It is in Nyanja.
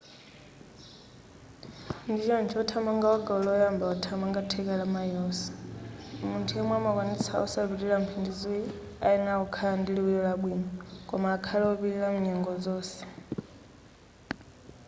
ndichoncho wothamanga wa gawo loyamba wothamanga theka la mayilosi munthu yemwe amakwanitsa osapitilira mphindi ziwiri ayenera kukhala ndi liwiro labwino koma akhale wopilira kunyengo zonse